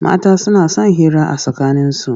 Mata suna son hira a tsakaninsu.